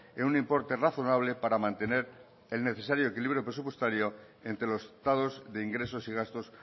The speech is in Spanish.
en un importe razonable para mantener el necesario equilibrio presupuestario entre los estados de ingresos y gastos